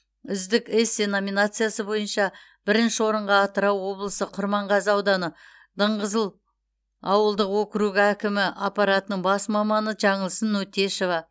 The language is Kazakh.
үздік эссе номинациясы бойынша бірінші орынға атырау облысы құрманғазы ауданы дыңғызыл ауылдық округі әкімі аппаратының бас маманы жаңылсын өттешова